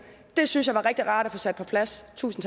det synes jeg var rigtig rart at få sat på plads så tusind